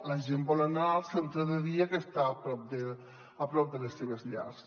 la gent vol anar al centre de dia que està a prop de les seves llars